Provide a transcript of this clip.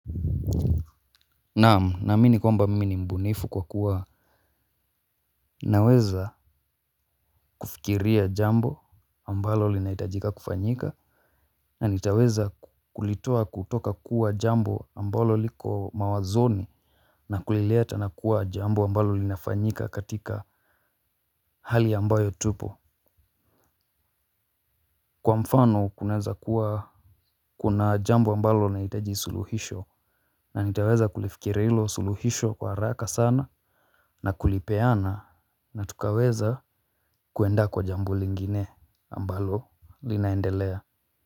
Naam naamini kwamba mimi ni mbunifu kwa kuwa naweza kufikiria jambo ambalo linahitajika kufanyika. Na nitaweza kulitoa kutoka kuwa jambo ambalo liko mawazoni. Na kulileta na kuwa jambo ambalo linafanyika katika hali ambayo tupo. Kwa mfano kunaweza kuwa kuna jambo ambalo linahitaji suluhisho. Na nitaweza kulifikiria hilo suluhisho kwa haraka sana. Na kulipeana na tukaweza kuenda kwa jambo lingine ambalo linaendelea.